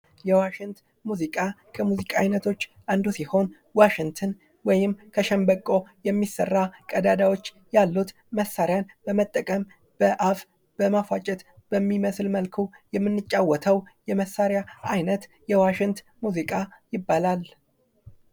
የዋሽንት ሙዚቃ ከሙዚቃዎች አይነቶች ውስጥ አንዱ ሲሆን ዋሽንት ወይም ከሸምበቆ የሚሰራ ቀዳዳዎችን ያሉት መሣሪያዎችን በመጠቀም በአፍ በመፋጨት በሚመስል መልኩ የምንጫወተው የመሳሪያ አይነት የዋሽንት ሙዚቃ ይባላል።